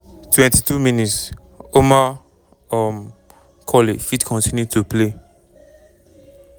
22 mins- omar um colley fit continue to play.